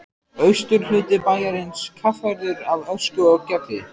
Austurhluti bæjarins kaffærður af ösku og gjalli.